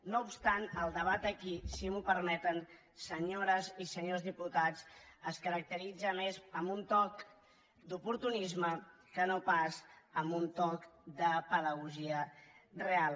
no obstant el debat aquí si m’ho permeten senyores i senyors diputats es caracteritza més amb un toc d’oportunisme que no pas amb un toc de pedagogia real